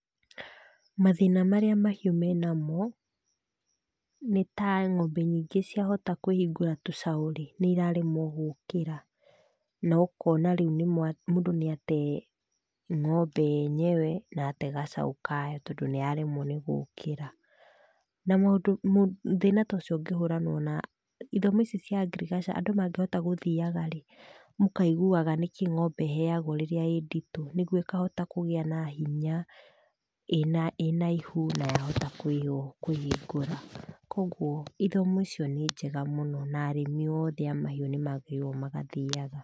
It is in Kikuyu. Mathĩna marĩa mahiũ me namo nĩ ta ng'ombe nyingĩ ciahota kũĩhingũra tucaũ rĩ, nĩ iraremwo gũũkĩra no kona rĩu mũndũ nĩ atee ng'ombe yenyewe na ate gacaũ kayo tondũ nĩyaremwo nĩ gũkĩra. Na thĩna tocio ũngĩhũranwo na ithomi ici cia ngirigaca andũ mangĩhotaga gũthiaga rĩ, mũkaiguaga nĩkĩĩ ng'ombe ĩheagwo rĩrĩa ĩ nditũ nĩguo ĩkahota kũgĩa na hinya ĩ na ihu na yahota kũĩhingũra. Koguo ithomo icio nĩ njega mũno na arĩmi othe a mahiu nĩ magĩrĩirwo magathiaga.